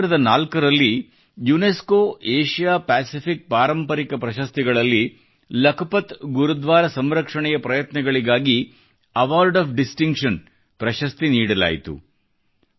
2004 ರಲ್ಲಿ UNESCO Asia Pacific ಪಾರಂಪರಿಕ ಪ್ರಶಸ್ತಿಗಳಲ್ಲಿ ಲಖಪತ್ ಗುರುದ್ವಾರ ಸಂರಕ್ಷಣೆಯ ಪ್ರಯತ್ನಗಳಿಗಾಗಿ ಅವಾರ್ಡ್ ಆಫ್ ಡಿಸ್ಟಿಂಕ್ಷನ್ ಪ್ರಶಸ್ತಿ ನೀಡಲಾಯಿತು